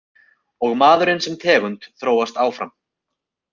Og maðurinn sem tegund þróast áfram.